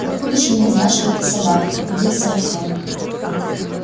откуда же мне знать что это собака обиделся артём